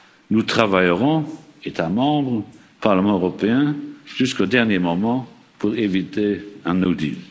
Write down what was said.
Nous travaillerons, États membres, Parlement européen, jusqu'au dernier moment pour éviter un no